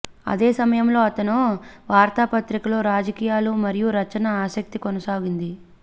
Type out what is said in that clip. అదే సమయంలో అతను వార్తాపత్రిక లో రాజకీయాలు మరియు రచన ఆసక్తి కొనసాగింది